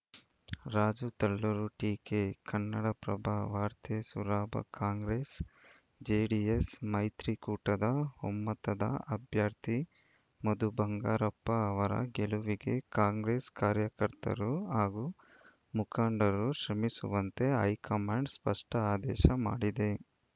ರಾಜು ತಲ್ಲೂರು ಟೀಕೆ ಕನ್ನಡಪ್ರಭ ವಾರ್ತೆ Soraba Congress JDS ಮೈತ್ರಿಕೂಟದ ಒಮ್ಮತ್ತದ ಅಭ್ಯರ್ಥಿ ಮಧು ಬಂಗಾರಪ್ಪ ಅವರ ಗೆಲುವಿಗೆ ಕಾಂಗ್ರೆಸ್‌ ಕಾರ್ಯಕರ್ತರು ಹಾಗೂ ಮುಖಂಡರು ಶ್ರಮಿಸುವಂತೆ ಹೈಕಮಾಂಡ್‌ ಸ್ಪಷ್ಟಆದೇಶ ಮಾಡಿದೆ